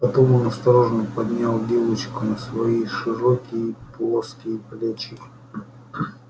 потом он осторожно поднял девочку на свои широкие плоские плечи